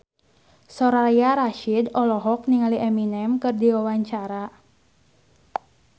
Soraya Rasyid olohok ningali Eminem keur diwawancara